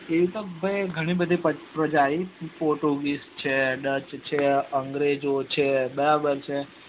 એવી તો ભાઈ ઘણી બધી પ્રજા આવી છે portuguese છે dutch છે અગ્રેજો છે બરાબર છે